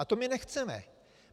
A to my nechceme.